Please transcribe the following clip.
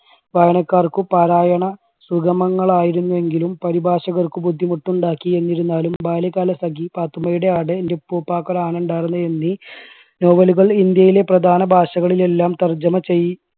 വായനക്കാർക്ക് പാരായണ സുഖമങ്ങൾ ആയിരുന്നുവെങ്കിലും പരിഭാഷകർക്ക് ബുദ്ധിമുട്ടുണ്ടാക്കി എന്നിരുന്നാലും ബാല്യകാലസഖി, പാത്തുമ്മയുടെ ആട്, ന്റെ ഉപ്പൂപ്പായ്ക്ക് ഒരു ആന ഉണ്ടായിരുന്നു എന്നീ novel കൾ ഇന്ത്യയിലെ പ്രധാന ഭാഷകളിലെല്ലാം തർജ്ജമ ചെയ്